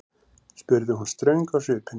spurði hún ströng á svipinn.